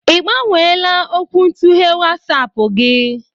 Ibgbanweela okwuntughe WatsAapụ gị?